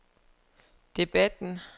debatten